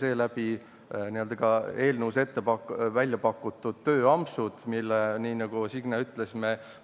Seeläbi suurendati ka eelnõus välja pakutud tööampsude võimalust, milles me komisjonis, nii nagu Signe ütles,